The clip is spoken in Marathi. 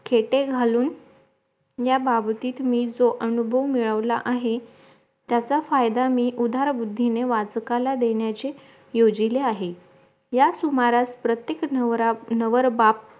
फेटे घालून या बाबतीत मी जो अनुभव मिळवला आहे त्याचा फायदा मी उधार मुद्धीने वाचकाला देण्याची योजीले आहे या सुमारास प्रत्येक नवरा नवरबाप